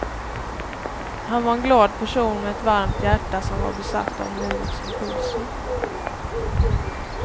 Han var en glad person med ett varmt hjärta som var besatt av nuets impulser.